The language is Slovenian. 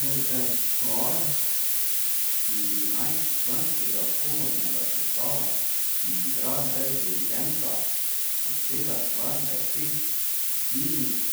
Repertoar štirinajstčlanskega komornega sestava, ki igra brez dirigenta, obsega skladbe vseh stilnih